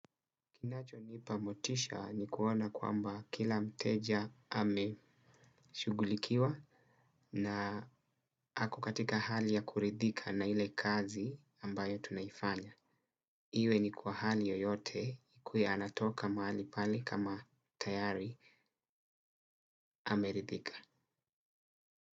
Kinacho nipa motisha ni kuona kwamba kila mteja ameshughulikiwa na ako katika hali ya kuridhika na ile kazi ambayo tunaifanya. Iwe ni kwa hali yoyote kule anatoka mahali pale kama tayari ameridhika.